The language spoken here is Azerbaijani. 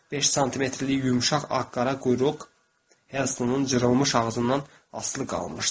Beş santimetrlik yumşaq ağ-qara quyruq Herstonun cırılmış ağzından asılı qalmışdı.